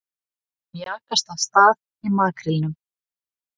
Mjakast af stað í makrílnum